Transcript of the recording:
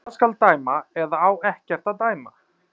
Hvað skal dæma, eða á ekkert að dæma?